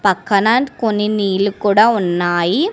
అక్కడ కొన్ని నీళ్లు కూడా ఉన్నాయి.